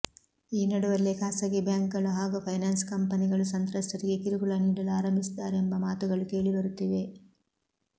ಈ ನಡುವಲ್ಲೇ ಖಾಸಗಿ ಬ್ಯಾಂಕ್ ಗಳು ಹಾಗೂ ಫೈನಾನ್ಸ್ ಕಂಪನಿಗಳು ಸಂತ್ರಸ್ತರಿಗೆ ಕಿರುಕುಳ ನೀಡಲು ಆರಂಭಿಸಿದ್ದಾರೆಂಬ ಮಾತುಗಳು ಕೇಳಿ ಬರುತ್ತಿವೆ